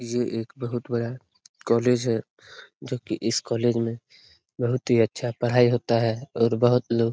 ये एक बहुत बड़ा कॉलेज है जो की इस कॉलेज में बहुत ही अच्छा पढ़ाई होता है और बहुत लोग --